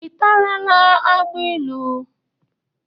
Ị tarala agbailu?